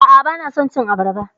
A'a, bana son cin abarba.